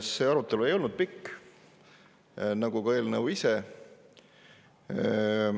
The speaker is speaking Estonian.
See arutelu ei olnud pikk, nagu ei ole ka eelnõu ise.